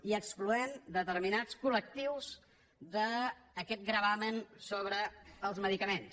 i excloent determinats col·lectius d’aquest gravamen sobre els medicaments